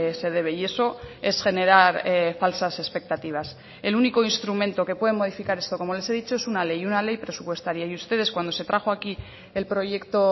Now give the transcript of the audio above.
se debe y eso es generar falsas expectativas el único instrumento que puede modificar esto como les he dicho es una ley y una ley presupuestaria y ustedes cuando se trajo aquí el proyecto